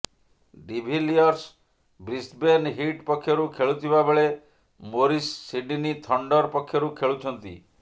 de Villiers Brisbane Heat ପକ୍ଷରୁ ଖେଳୁଥିବା ବେଳେ ମୋରିସ ସିଡନୀ ଥଣ୍ଡର ପକ୍ଷରୁ ଖେଳୁଛନ୍ତି